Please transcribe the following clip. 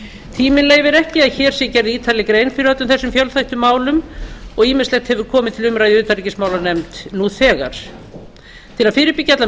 tíminn leyfir ekki að hér sé gerð ítarlega grein fyrir öllum þessum fjölþættu málum og ýmislegt hefur komið til umræðu í utanríkismálanefnd nú þegar til að fyrirbyggja allan